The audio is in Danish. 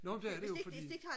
jo men det er det jo fordi